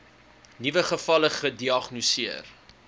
nuwe gevalle gediagnoseer